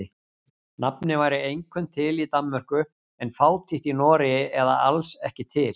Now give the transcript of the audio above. Nafnið væri einkum til í Danmörku en fátítt í Noregi eða alls ekki til.